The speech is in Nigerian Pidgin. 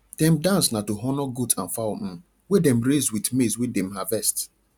dem dance na to honour goat and fowl um wey dem raise with maize wey dem harvest